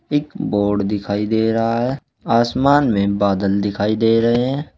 एक बोर्ड दिखाई दे रहा है आसमान में बादल दिखाई दे रहे हैं।